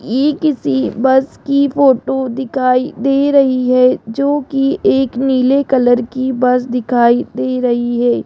ये किसी बस की फोटो दिखाई दे रही है जो की एक नीले कलर की बस दिखाई दे रही है।